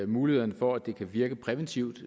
mulighederne for at det kan virke præventivt